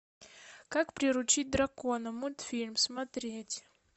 как приручить дракона мультфильм смотреть